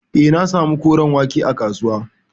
Eh, na samu koren wake a kasuwa.